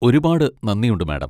ഒരുപാട് നന്ദിയുണ്ട്, മാഡം.